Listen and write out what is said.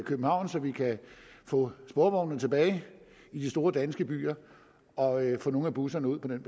københavn så vi kan få sporvognene tilbage i de store danske byer og få nogle af busserne ud på den